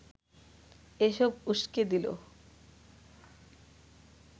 এসব উসকে দিল